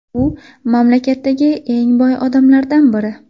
U mamlakatdagi eng boy odamlardan biri.